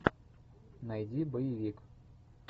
найди боевик